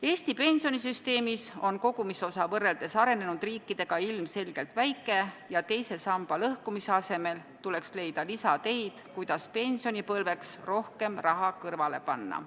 Eesti pensionisüsteemis on kogumisosa võrreldes arenenud riikide omaga ilmselgelt väike ja teise samba lõhkumise asemel tuleks leida lisateid, kuidas pensionipõlveks rohkem raha kõrvale panna.